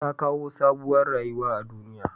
Tta kawo sabuwar rayuwa a duniya.